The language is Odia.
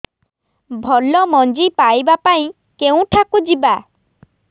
ଭଲ ମଞ୍ଜି ପାଇବା ପାଇଁ କେଉଁଠାକୁ ଯିବା